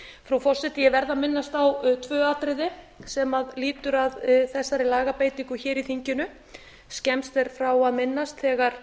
frú forseti ég verð að minnast á tvö atriði sem lýtur að þessari lagabreytingu hér í þinginu skemmst er frá að minnast þegar